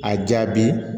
A jaabi